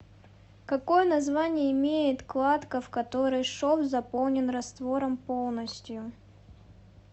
какое название имеет кладка в которой шов заполнен раствором полностью